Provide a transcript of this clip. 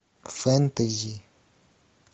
фэнтези